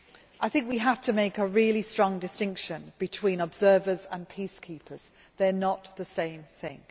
I think we have to make a really strong distinction between observers and peacekeepers they are not the same thing.